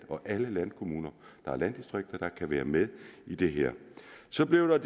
alle landkommuner der er landdistrikter der kan være med i det her så blev